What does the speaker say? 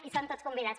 hi són tots convidats